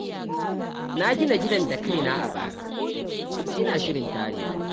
Na gina gidan kaina a bara kuma ina shirin tarewa.